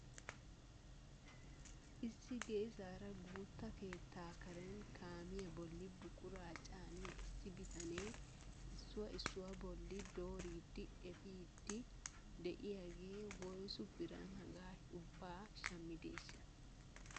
Issi geessaara guutta keettaa karen kaamiyaa bolli buquraa caaniyaa issi bitanee issuwaa issuwaa bolli dooridi epiidi de'iyaagee woyssu biran hagaa ubbaa shammideeshsha?